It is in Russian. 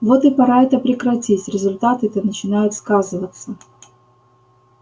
вот и пора это прекратить результаты-то начинают сказываться